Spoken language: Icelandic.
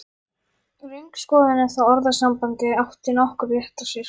Röng skoðun, ef það orðasamband átti nokkurn rétt á sér.